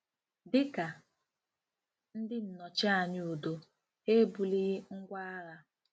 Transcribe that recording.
Dị ka ndị nnọchianya udo, ha ebulighị ngwá agha.